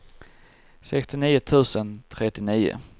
sextionio tusen trettionio